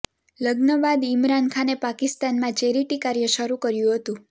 લગ્ન બાદ ઇમરાન ખાને પાકિસ્તાનમાં ચેરિટીકાર્ય શરૂ કર્યું હતું